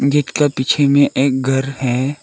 Gate का पीछे में एक घर है।